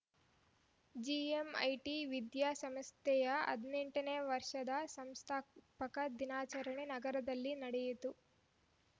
GMIT ವಿದ್ಯಾ ಸಂಸ್ಥೆಯ ಹದಿನೆಂಟನೇ ವರ್ಷದ ಸಂಸ್ಥಾಪನಾ ದಿನಾಚರಣೆ ನಗರದಲ್ಲಿ ನಡೆಯಿತು